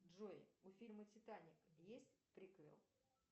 джой у фильма титаник есть приквел